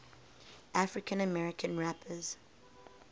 african american rappers